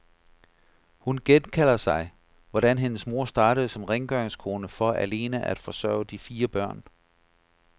Hun genkalder sig, hvordan hendes mor startede som rengøringskone for alene at forsørge de fire børn.